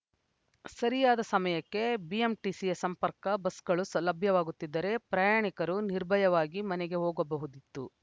ಸರಿಯಾದ ಸಮಯಕ್ಕೆ ಬಿಎಂಟಿಸಿಯ ಸಂಪರ್ಕ ಬಸ್‌ಗಳು ಲಭ್ಯವಾಗುತ್ತಿದ್ದರೆ ಪ್ರಯಾಣಿಕರು ನಿರ್ಭಯವಾಗಿ ಮನೆಗೆ ಹೋಗಬಹುದಿತ್ತು